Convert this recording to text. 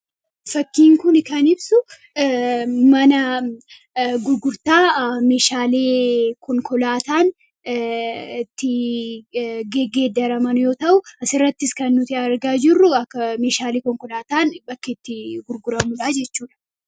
fakkiin kun kan ibsu mana gurgurtaa meeshaalee konkolaataan itti geggeedaraman yoo ta'uu asiirrattis kan nuti argaa jirruu akka meshaalee konkolaataan bakkeetti gurguramudhaa jechuudha.